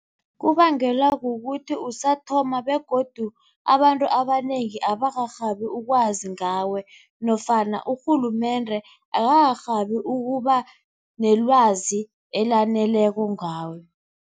Kubangelwa kukuthi usathoma begodu abantu abanengi abakarhabi ukwazi ngawe nofana urhulumende akakarhabi ukuba nelwazi elaneleko ngawe.